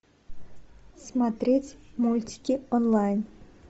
смотреть мультики онлайн